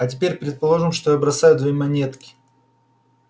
а теперь предположим что я бросаю две монетки